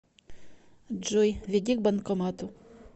джой веди к банкомату